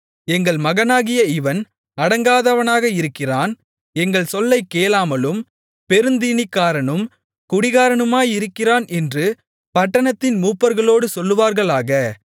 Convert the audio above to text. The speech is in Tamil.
எங்கள் மகனாகிய இவன் அடங்காதவனாக இருக்கிறான் எங்கள் சொல்லைக் கேளாமலும் பெருந்தீனிக்காரனும் குடிகாரனுமாயிருக்கிறான் என்று பட்டணத்தின் மூப்பர்களோடு சொல்லுவார்களாக